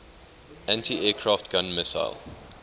anti aircraft gun missile